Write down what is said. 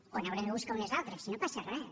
o n’haurem de buscar unes altres si no passa res